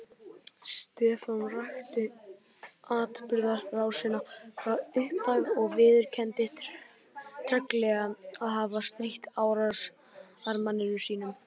Stefán rakti atburðarásina frá upphafi og viðurkenndi treglega að hafa strítt árásarmanni sínum.